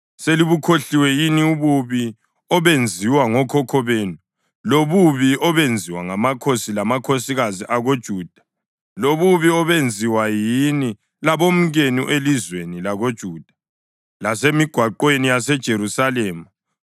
Selibukhohliwe yini ububi obenziwa ngokhokho benu lobubi obenziwa ngamakhosi lamakhosikazi akoJuda, lobubi obenziwa yini labomkenu elizweni lakoJuda, lasemigwaqweni yaseJerusalema?